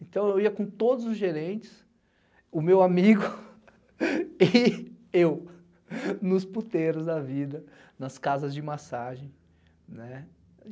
Então, eu ia com todos os gerentes, o meu amigo e eu, nos puteiros da vida, nas casas de massagem.